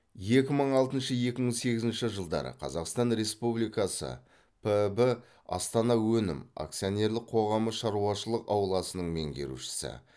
екі мың алтыншы екі мың сегізінші жылдары қазақстан республикасы піб астана өнім акционерлік қоғамы шаруашылық ауласының меңгерушісі